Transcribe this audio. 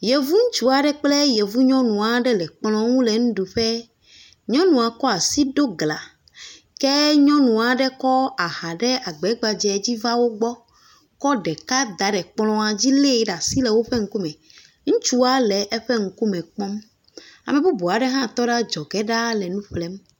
Yevu ŋutsu aɖe kple yevunyɔnu aɖe le kplɔ aɖe ŋu le nuɖuƒe, ke nyɔnu aɖe kɔ aha ɖe agba gbadzɛ dzi va wo gbɔ, kɔ ɖeka da ɖe kplɔa dzi lée ɖe asi le woƒe ŋkume, ŋutsua le eƒe ŋkume kpɔm, ame bubu aɖe hã tɔ ɖe adzɔge ɖaa le nu ƒlem.